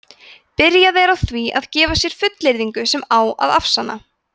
byrjað er á því að gefa sér fullyrðinguna sem á að afsanna